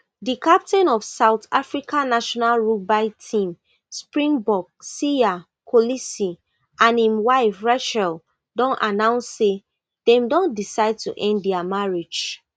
di captain of south africa national rugby team springbok siya kolisi and im wife rachel don announce say dem don decide to end dia marriage